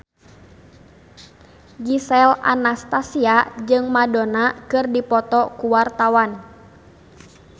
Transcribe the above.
Gisel Anastasia jeung Madonna keur dipoto ku wartawan